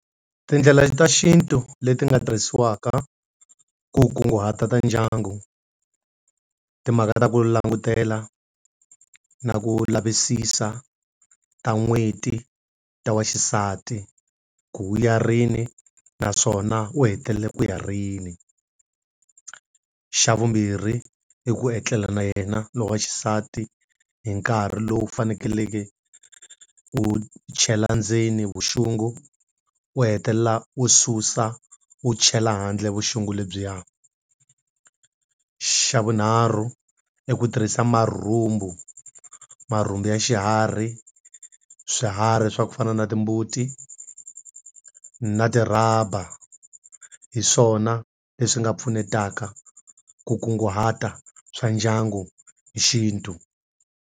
Tindlela ta xintu leti nga tirhisiwaka ku kunguhata ta ndyangu, timhaka ta ku langutela na ku lavisisa ta n'hweti ta wa xisati. Ku u ya rini naswona u hetelele ku ya rini. Xa vumbirhi, i ku etlela na yena lowu va xisati hi nkarhi lowu faneleke u chela ndzeni vuxungu u hetelela u susa u chela handle vuxungu lebyiya. Xa vunharhu i ku tirhisa marhumbu. Marhumbu ya xiharhi swiharhi swa ku fana na timbuti, na ti rhaba hi swona leswi nga pfunetaka ku kunguhata swa ndyangu hi xintu.